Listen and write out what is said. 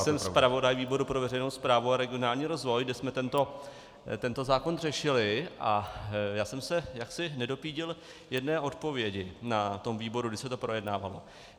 Jsem zpravodaj výboru pro veřejnou správu a regionální rozvoj, kde jsme tento zákon řešili, a já jsem se jaksi nedopídil jedné odpovědi na tom výboru, když se to projednávalo.